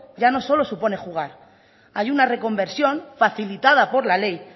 ya no solo supone jugar hay una reconversión facilitada por la ley